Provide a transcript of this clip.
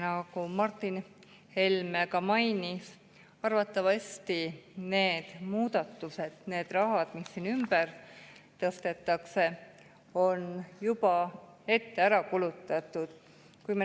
Nagu Martin Helme ka mainis, arvatavasti see raha, mis siin ümber tõstetakse, on juba ette ära kulutatud.